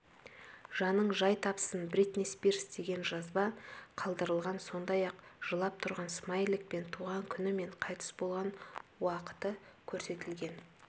жаның жай тапсын бритни спирс деген жазба қалдырылған сондай-ақ жылап тұрған смайлик пен туған күні мен қайтыс болған уақыты көрсетілген